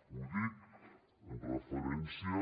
ho dic en referència